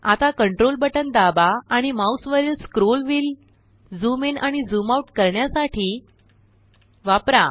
आता control button दाबा आणि माऊसवरील स्क्रोल व्हील झूम इन आणि झूम आउट करण्यासाठी वापरा